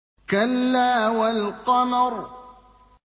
كَلَّا وَالْقَمَرِ